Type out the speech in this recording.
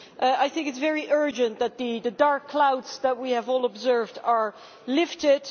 I think it is very urgent that the dark clouds that we have all observed are lifted.